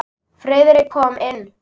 Friðrik kom inn.